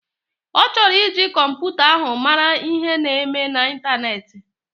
Ọchọrọ iji kọmputa ahu mara ihe na eme na intaneti.